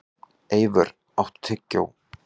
Eivör, áttu tyggjó?